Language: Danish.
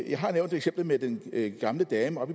jeg har nævnt eksemplet med den gamle dame